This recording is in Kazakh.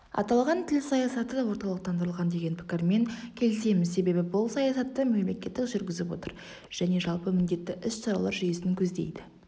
аталған тіл саясаты орталықтандырылған деген пікірмен келісеміз себебі бұл саясатты мемлекет жүргізіп отыр және жалпы міндетті іс-шаралар жүйесін көздейді